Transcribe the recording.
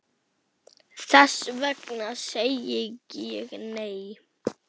Þess vegna segi ég, nei!